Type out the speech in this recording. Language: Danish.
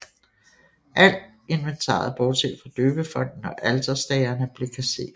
Alt inventaret bortset fra døbefonten og alterstagerne blev kasseret